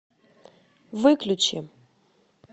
выключи